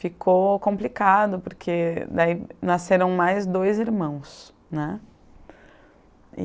Ficou complicado, porque daí nasceram mais dois irmãos, né.